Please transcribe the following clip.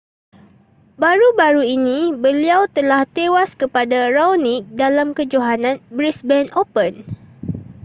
baru-baru ini beliau telah tewas kepada raonic dalam kejohanan brisbane open